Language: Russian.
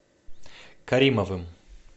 каримовым